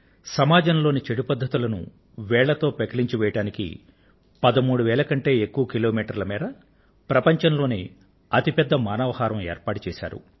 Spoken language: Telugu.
రాష్ట్రంలోని చెడు పద్ధతులను వేళ్లతో పెకిలించివెయ్యడానికి పదమూడు వేల కంటే ఎక్కువ కిలోమీటర్ల మేర ప్రపంచం లోకెల్లా అతి పెద్ద మానవ హారాన్ని రూపొందించారు